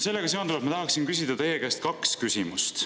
Sellega seonduvalt ma tahaksin küsida teie käest kaks küsimust.